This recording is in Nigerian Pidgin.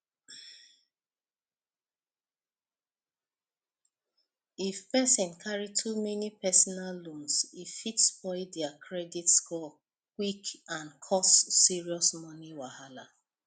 if person carry too many personal loans e fit spoil their credit score quick and cause serious money wahala